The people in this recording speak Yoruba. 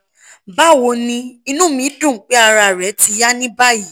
bawo ni inu mi dun pe ara re ti ya ni bayi